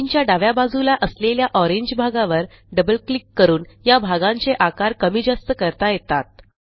स्क्रीनच्या डाव्या बाजूला असलेल्या ओरंगे भागावर डबल क्लिक करून या भागांचे आकार कमी जास्त करता येतात